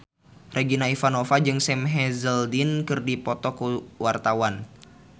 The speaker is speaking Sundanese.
Regina Ivanova jeung Sam Hazeldine keur dipoto ku wartawan